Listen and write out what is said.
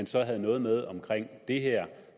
så havde noget med omkring det her